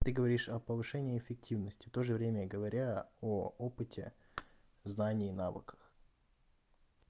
ты говоришь о повышении эффективности тоже время говоря о опыте знании навыках